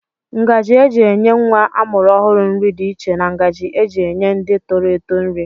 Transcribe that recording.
Ngaji eji enye nwa amụrụ ọhụrụ nri dị iche na ngaji eji enye ndị toro eto nri.